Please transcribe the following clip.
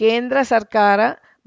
ಕೇಂದ್ರ ಸರ್ಕಾರ